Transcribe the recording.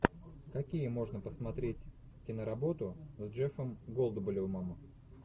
какие можно посмотреть киноработы с джеффом голдблюмом